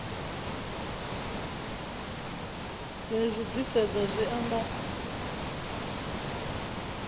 ya zwi disedza zwi amba